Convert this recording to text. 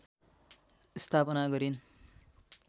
स्थापना गरिन्